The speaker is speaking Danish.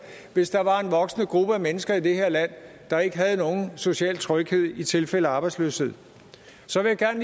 hvis der var en voksende gruppe af mennesker i det her land der ikke havde nogen social tryghed i tilfælde af arbejdsløshed så vil jeg